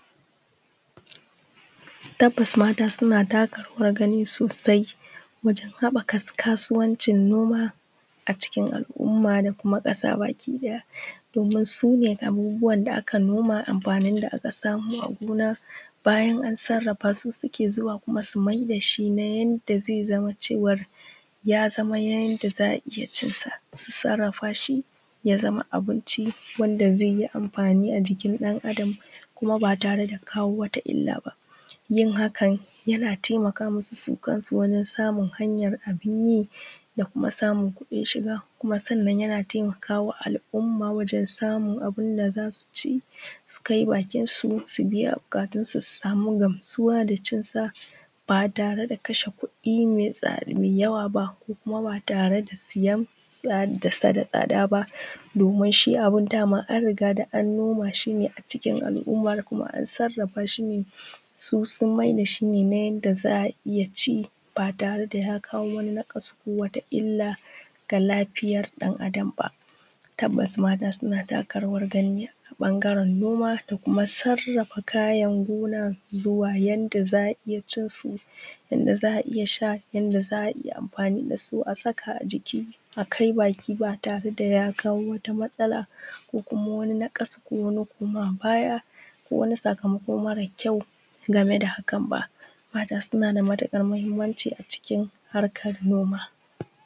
Tabbas mata suna taka rawar gani sosai wajen haɓaka kasuwanci noma a cikin al'umma da kuma ƙasa baki ɗaya. Domin su ne abubuwan da aka noma amfanin da aka samo a gona su suke zuwa su mayar da shi na yadda zai zama cewar ya zama na yadda za a iya cinsa ya zama abinci yadda zai yi amfani a jikin ɗan Adam kuma ba tare da kawo wata illa ba. Yin hakan yana taimaka musu su kansu wajen samun hanyar abun yi da kuma samun kudin shiga. Kuma sannan yana taimakawa al'umma wajen samun abunda za su ci su kai bakin su su biya buƙatunsu su sama gamsuwa da cinsa ba tare da kashe kuɗi mai yawa ba. Kuma ba tare da sayansu da tsada ba domin shi abun an riga da an nima shi a cikin al'umma kuma na sarrafa shi ne su sun mayar da shi ne yadda za a iya ci ba tare da ya kawo naƙasu ko wata illa ga lafiyar dan Adam ba. Tabbas mata suna taka rawar gani a bangaren noma da kuma sarrafa kayan gona zuwa yadda za a iya cinsu, yadda za a iya sha, yadda za a iya amfani da su a saka jiki a kai baki ba tare da ya kawo matsala ba ko naƙasu ko wani koma baya ko wani saka mako mara ƙyau game da hakan ba. Mata suna da matukar mahimmanci a cikin harkar noma